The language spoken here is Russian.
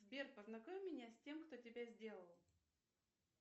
сбер познакомь меня с тем кто тебя сделал